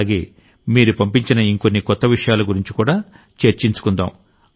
అలాగే మీరు పంపించిన ఇంకొన్ని కొత్త విషయాల గురించి కూడా చర్చించుకుందాం